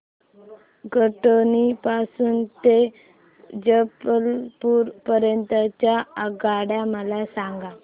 कटनी पासून ते जबलपूर पर्यंत च्या आगगाड्या मला सांगा